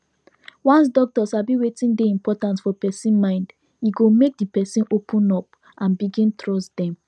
once doctor sabi wetin dey important for person mind e go make the person open up and begin trust dem